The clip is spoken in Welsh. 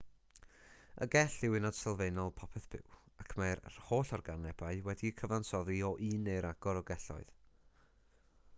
y gell yw uned sylfaenol popeth byw ac mae'r holl organebau wedi'u cyfansoddi o un neu ragor o gelloedd